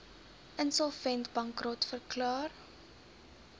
insolvent bankrot verklaar